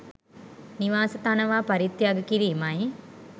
නිවාස තනවා පරිත්‍යාග කිරීමයි.